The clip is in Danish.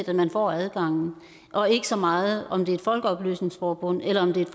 at man får adgangen og ikke så meget om det er et folkeoplysningsforbund eller om det er